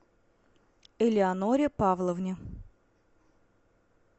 элеоноре павловне